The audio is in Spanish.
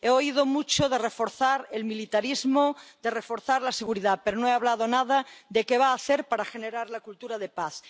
He oído hablar mucho de reforzar el militarismo, de reforzar la seguridad, pero no ha hablado nada de qué va a hacer para generar la cultura de paz.